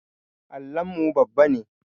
Allon mu babba ne